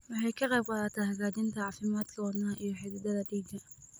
Waxay ka qaybqaadataa hagaajinta caafimaadka wadnaha iyo xididdada dhiigga.